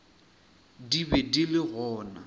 di be di le gona